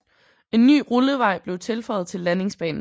En ny rullevej blev tilføjet til landingsbanen